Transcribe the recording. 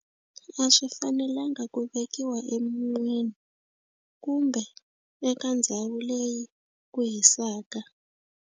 A swi fanelanga ku vekiwa emun'wini kumbe eka ndhawu leyi ku hisaka.